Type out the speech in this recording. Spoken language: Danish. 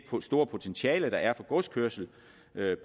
store potentiale der er for godskørsel